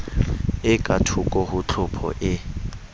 e kathoko ho tlhopho e